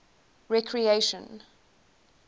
recreation